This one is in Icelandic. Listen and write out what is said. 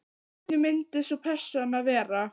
Hvernig myndi sú persóna vera?